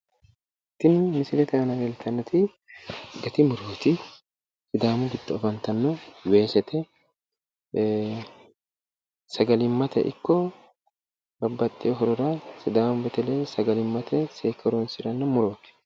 Tini misilete aana leeltannoti gati murooti sidaami giddo afantannote weesete sagalimmate ikko babbaxxewo horora sidaamu beteleyi sagalimmate seekke horonsi'ranno murooti.